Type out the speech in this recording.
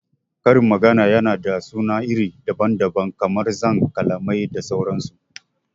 Karin magana yana da suna iri daban daban kamar zanc, kalamai da sauran su